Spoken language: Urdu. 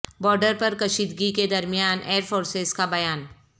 بارڈر پر کشیدگی کے درمیان ایئر فورس کا بیا ن